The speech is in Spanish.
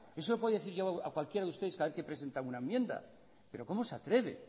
eso yo lo podría decir a cualquiera de ustedes cada vez que presenta una enmienda pero cómo se atreve